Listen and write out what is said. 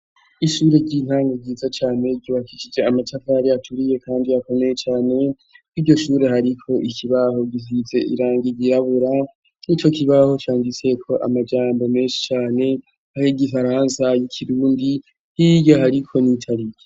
Ishure ry'intango ryiza cane ryubakishije amatafari aturiye kandi akomeye cane. kur'iryo shure, hariko ikibaho gizise irangi ryirabura. N'ico kibaho canditseko amajambo menshi cane, ayo igifaransa ,ayo ikirundi hirya hariko n'itariki.